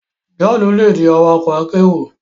Johnu le di awakọ akero